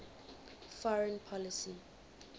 foreign policy